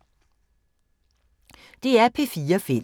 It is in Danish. DR P4 Fælles